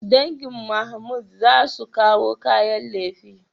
Dangin Mahmood za su kawo kayan lefe.